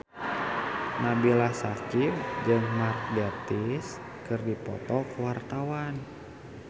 Nabila Syakieb jeung Mark Gatiss keur dipoto ku wartawan